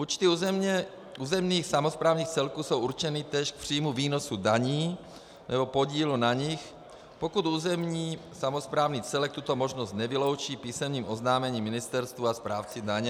Účty územních samosprávných celků jsou určeny též k příjmu výnosů daní nebo podílu na nich, pokud územní samosprávný celek tuto možnost nevyloučí písemným oznámením ministerstvu a správci daně.